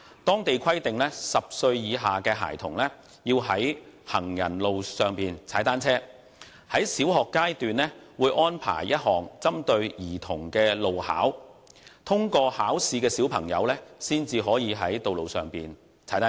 當地規定10歲以下的孩童要在行人路上踏單車，在小學階段會安排一項針對兒童的路考，通過考試的兒童才能在道路上踏單車。